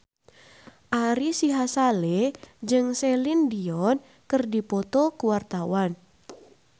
Ari Sihasale jeung Celine Dion keur dipoto ku wartawan